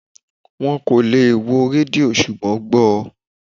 Wón kò lè wo rédíò ṣùgbọ́n gbọ